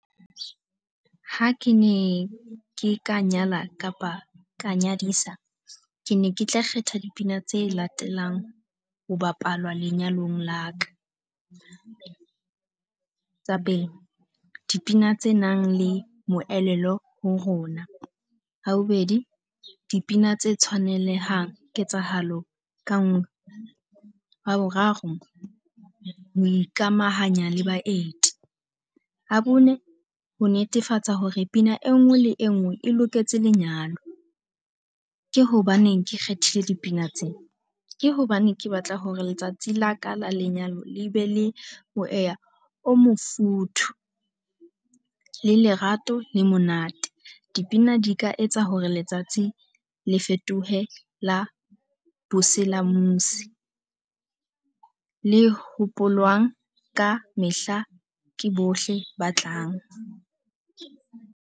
Ha ke ne ke ka nyala kapa ka nyadisa, ke ne ke tla kgetha dipina tse latelang ho bapalwa lenyalong la ka. Tsa pele, dipina tse nang le moelelo ho rona. La bobedi, dipina tse tshwanelehang ketsahalo ka nngwe. Ya boraro, ho ikamahanya le baeti. Ya bone, ho netefatsa hore pina e nngwe le e nngwe e loketse lenyalo. Ke hobaneng ke kgethile dipina tseo? Ke hobane ke batla hore letsatsi la ka la lenyalo le be le moya o mofuthu, le lerato le monate. Dipina di ka etsa hore letsatsi le fetohe la le hopolwang ka mehla ke bohle ba tlang.